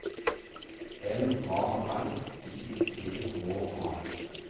M A R I T H A